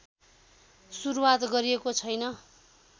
सुरुवात गरिएको छैन